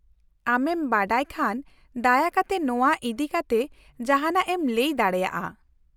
-ᱟᱢᱮᱢ ᱵᱟᱰᱟᱭ ᱠᱷᱟᱱ ᱫᱟᱭᱟᱠᱟᱛᱮ ᱱᱚᱣᱟ ᱤᱫᱤ ᱠᱟᱛᱮ ᱡᱟᱦᱟᱱᱟᱜ ᱮᱢ ᱞᱟᱹᱭ ᱫᱟᱲᱮᱭᱟᱜᱼᱟ ?